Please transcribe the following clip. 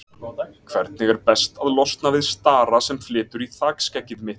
Hvernig er best að losna við stara sem flytur í þakskeggið mitt?